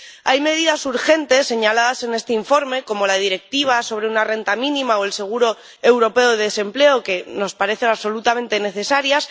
Hay medidas urgentes señaladas en este informe, como la Directiva sobre una renta mínima o el seguro europeo de desempleo, que nos parecen absolutamente necesarias.